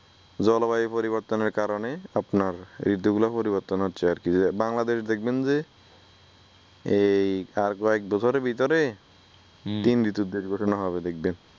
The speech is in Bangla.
জলবায়ু পরিবর্তনের কারণে আপনার ঋতুগুলো পরিবর্তন হচ্ছে আরকি বাংলাদেশ দেখবেন যে এই আর কয়েকবছরের ভিতরে তিন ঋতুর দেশ ঘোষনা হবে দেখবেন ।